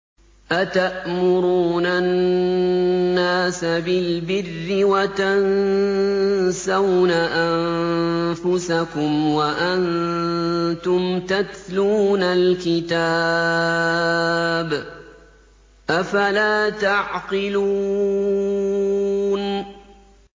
۞ أَتَأْمُرُونَ النَّاسَ بِالْبِرِّ وَتَنسَوْنَ أَنفُسَكُمْ وَأَنتُمْ تَتْلُونَ الْكِتَابَ ۚ أَفَلَا تَعْقِلُونَ